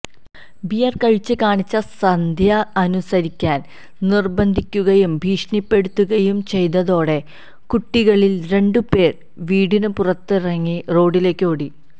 beer കഴിച്ച് കാണിച്ച സന്ധ്യ അനുസരിക്കാൻ നിർബന്ധിക്കുകയും ഭീഷണിപ്പെടുത്തുകയും ചെയ്തതോടെ കുട്ടികളിൽ രണ്ടുപേർ വീടിന് പുറത്തിറങ്ങി റോഡിലേക്ക് ഓടി